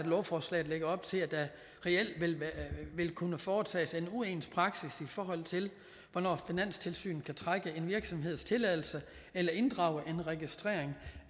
lovforslaget lægger op til at der reelt vil kunne foretages en uens praksis i forhold til hvornår finanstilsynet kan trække en virksomheds tilladelse eller inddrage en registrering